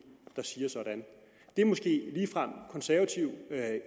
der siger sådan det er måske ligefrem konservativ